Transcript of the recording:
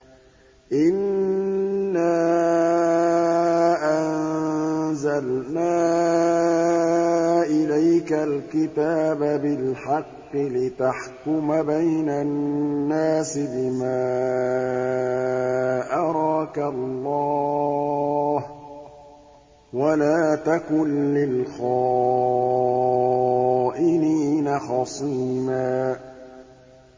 إِنَّا أَنزَلْنَا إِلَيْكَ الْكِتَابَ بِالْحَقِّ لِتَحْكُمَ بَيْنَ النَّاسِ بِمَا أَرَاكَ اللَّهُ ۚ وَلَا تَكُن لِّلْخَائِنِينَ خَصِيمًا